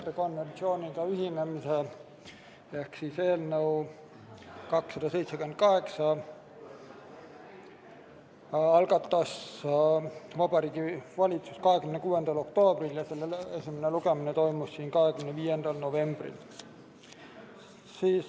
Meetrikonventsiooniga ühinemise seaduse eelnõu 278 algatas Vabariigi Valitsus 26. oktoobril ja esimene lugemine toimus 25. novembril.